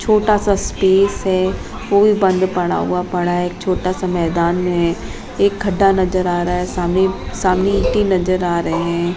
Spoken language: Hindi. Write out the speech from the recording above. छोटा सा स्पेस है वो भी बंद पड़ा हुआ पड़ा एक छोटा सा मैदान है एक खड्डा नजर आ रहा है सामने सामने गीट्टी नजर आ रहे हैं।